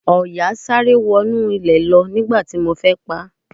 Ọ̀yà sáré wọ inú ilẹ̀ lọ nígbà tí mo fẹ́ paá.